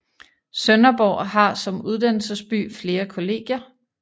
Sønderborg har som uddannelsesby flere kollegier